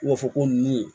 U b'a fɔ ko nunnu ye